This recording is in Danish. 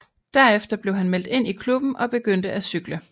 Derefter blev han meldt ind i klubben og begyndte at cykle